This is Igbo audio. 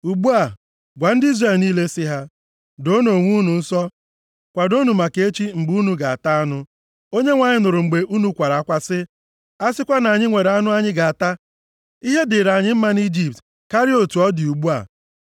“Ugbu a, gwa ndị Izrel niile si ha, ‘Doonụ onwe unu nsọ, kwadoonụ maka echi, mgbe unu ga-ata anụ. Onyenwe anyị nụrụ mgbe unu kwara akwa sị, “A sịkwa na anyị nwere anụ anyị ga-ata. Ihe dịrị anyị mma nʼIjipt karịa otu ọ dị ugbu a.”